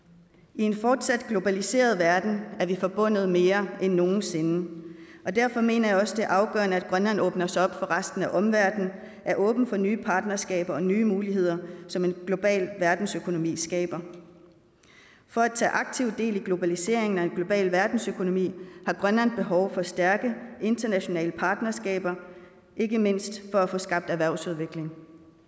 i en fortsat globaliseret verden er vi forbundet mere end nogen sinde og derfor mener jeg også det er afgørende at grønland åbner sig op for resten af omverdenen er åben for nye partnerskaber og nye muligheder som en global verdensøkonomi skaber for at tage aktiv del i globaliseringen og en global verdensøkonomien har grønland behov for stærke internationale partnerskaber ikke mindst for at få skabt erhvervsudvikling